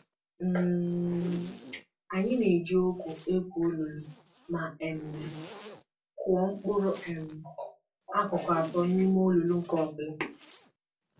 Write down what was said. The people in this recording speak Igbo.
um Anyị na-eji ọgụ egwu olulu ma um kụọ mkpụrụ um akụkụ atọ n'ime olulu nke ọbụla